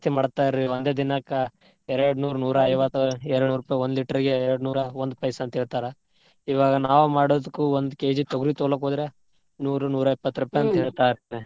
ಮಾಡ್ತಾರ್ರೀ ಒಂದೇ ದಿನಕ್ಕ್ ಎರಡ್ ನೂರ್, ನೂರಾ ಐವತ್ತ್, ಎರಡ್ನೂರ್ ರೂಪಾಯಿ ಒಂದ್ litre ಗೆ ಎರಡ್ನೂರ ಒಂದ್ ಪೈಸಾ ಅಂತ್ ಹೇಳ್ತಾರಾ. ಇವಾಗ ನಾವ್ ಮಾಡುದ್ಕ್ ಒಂದ್ kg ತೊಗರಿ ತುಗೋನಾಕ್ ಹೋದ್ರ ನೂರು ನೂರಾಎಪ್ಪತ್ತ್ ರೂಪಾಯಿ ಅಂತ ಹೇಳ್ತಾ ರೀ.